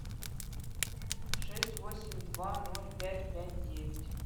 шесть восемь два ноль пять пять девять